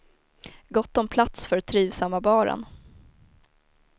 Gott om plats för trivsamma baren.